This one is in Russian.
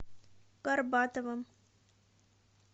горбатовым